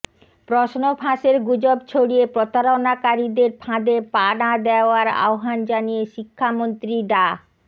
প্রশ্ন ফাঁসের গুজব ছড়িয়ে প্রতারণাকারীদের ফাঁদে পা না দেওয়ার আহ্বান জানিয়ে শিক্ষামন্ত্রী ডা